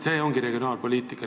See ongi regionaalpoliitika.